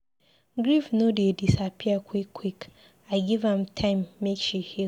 Grief no dey disappear quick-quick, give am time make she heal.